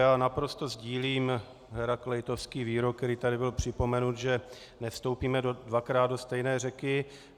Já naprosto sdílím hérakleitovský výrok, který tady byl připomenut, že nevstoupíme dvakrát do stejné řeky.